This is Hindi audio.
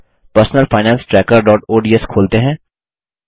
personal finance trackerओडीएस खोलते हैं